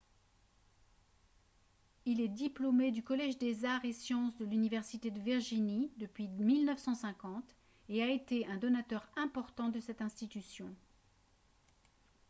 il est diplômé du collège des arts et sciences de l'université de virginie depuis 1950 et a été un donateur important de cette institution